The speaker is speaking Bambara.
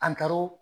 An taar'o